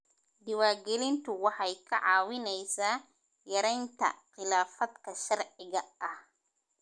Diiwaangelintu waxay kaa caawinaysaa yaraynta khilaafaadka sharciga ah.